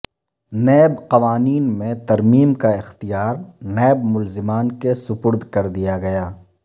NAB قوانین میں ترمیم کا اختیار نیب ملزمان کے سپرد کردیا گیا